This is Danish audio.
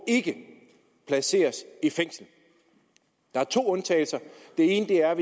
placeres i fængsel der er to undtagelser den ene er